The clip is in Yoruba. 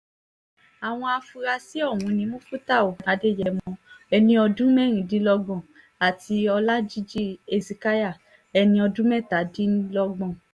àwọn afurasí ọ̀hún ni mufútàù adéyẹ̀mọ́ ẹni ọdún mẹ́rìndínlọ́gbọ̀n àti ọlajìji hesekiah ẹni ọdún mẹ́tàdínlọ́gbọ̀n